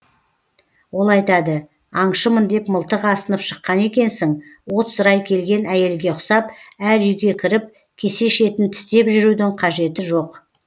ол айтады аңшымын деп мылтық асынып шыққан екенсің от сұрай келген әйелге ұқсап әр үйге кіріп кесе шетін тістеп жүрудің қажеті жоқ